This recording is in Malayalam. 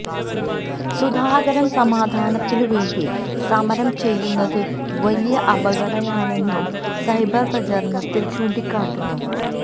സുധാകരന് സമാധാനത്തിന് വേണ്ടി സമരം ചെയ്യുന്നത് വലിയ കപടതയാണെന്നും സൈബര് പ്രചരണത്തില് ചൂണ്ടിക്കാട്ടുന്നു